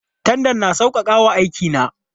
Tandan na sauƙaƙa wa aiki na.